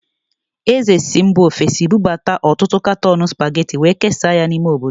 Eze si mba ofesi bụbata ọtụtụ katọọnụ Spageti wee kesaa ya n'ime obodo.